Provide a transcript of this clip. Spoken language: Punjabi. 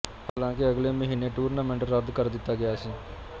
ਹਾਲਾਂਕਿ ਅਗਲੇ ਮਹੀਨੇ ਟੂਰਨਾਮੈਂਟ ਰੱਦ ਕਰ ਦਿੱਤਾ ਗਿਆ ਸੀ